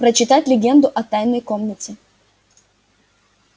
прочитать легенду о тайной комнате